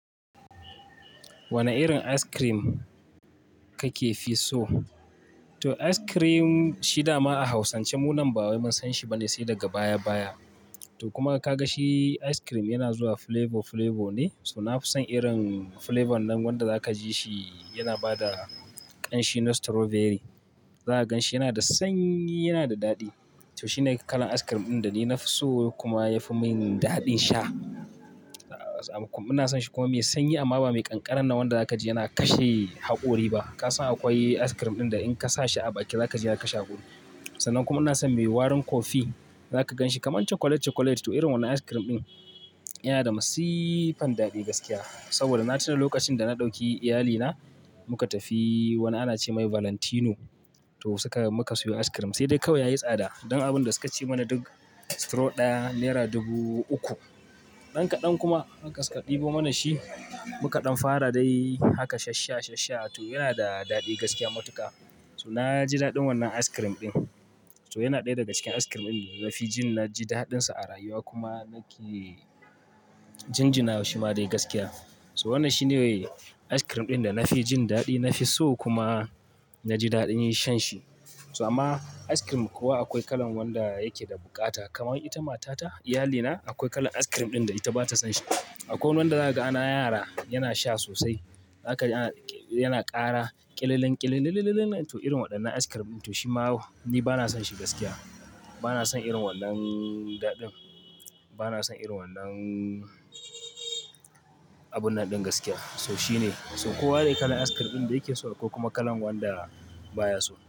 Wane irin ice cream kake fi so? To ice cream shi dama a hausance munan ba mun san shi bane sai daga baya baya. To kuma ka ga shi ice cream yana zuwa flavor flavor ne. So na fi son irin flavor nan wanda za ka ji shi yana bada ƙanshi na strawberry. Za ka gan shi yana da sanyi, yana da daɗi. To shi ne kalan ice cream ɗin da ni na fi so kuma ya fi min daɗin sha. Ina son shi kuma mai sanyi amma ba mai ƙanƙara nan wanda za ka ji yana kashe haƙori ba. Ka san akwai ice cream ɗin da in ka sa shi a baki za ka ji ya kashe haƙori. Sannan kuma ina son mai warin kofi. Za ka gan shi kamar chocolate chocolate. To irin wannan ice cream ɗin, yana da masifar daɗi gaskiya saboda na tuna lokacin da na ɗauki iyalina muka tafi wani ana ce mai Valentino to suka-- muka siyo ice cream. Sai dai kauya yayi tsada. Don abun da suka ce mana duk straw ɗaya naira dubu uku. Ɗan kaɗan kuma suka ɗebo mana shi muka ɗan fara dai haka shassha shassha. To yana da daɗi gaskiya matuka. So na ji daɗin wannan ice cream ɗin. To yana ɗaya daga cikin ice cream din da nafi jin naji daɗin sa a rayuwa kuma nake jinjinawa shima dai gaskiya. So wannan shi ne ice cream ɗin da na fi jin daɗi, na fi so kuma na ji daɗin shan shi. So amma ice cream kowa akwai kalan wanda yake da bukata. Kamar ita matata, iyalina akwai kalar ice cream ɗin da bata son shi akwai wani wanda zaka ga na yara yana sha sosai. Zaka ji yana kara kililin kilililin ba na son irin wannan daɗin. Ba na son irin wannan abunnan ɗin gaskiya. So shi ne. So kowa dai kalan ice cream ɗin da yake so ko kuma kalan wanda baya so.